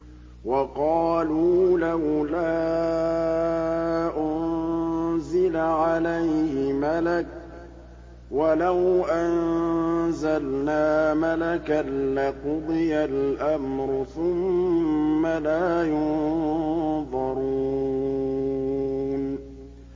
وَقَالُوا لَوْلَا أُنزِلَ عَلَيْهِ مَلَكٌ ۖ وَلَوْ أَنزَلْنَا مَلَكًا لَّقُضِيَ الْأَمْرُ ثُمَّ لَا يُنظَرُونَ